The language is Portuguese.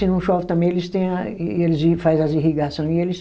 Se não chove também, eles tem a, eles faz as irrigação e eles